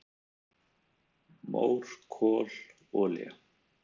"""Mór, kol, olía"""